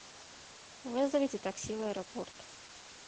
вызовите такси в аэропорт